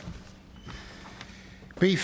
det